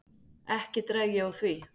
Ekki dreg ég úr því.